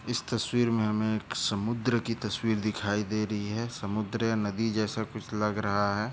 इस तस्वीर मे हमे एक समुद्र की तस्वीर दिखाई दे रही है समुद्र या नदी जैसा कुछ लग रहा है।